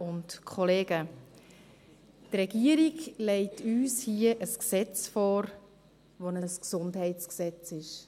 Die Regierung legt uns hier ein Gesetz vor, welches ein Gesundheitsgesetz ist.